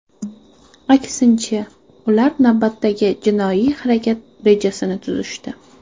Aksincha, ular navbatdagi jinoiy harakat rejasini tuzishdi.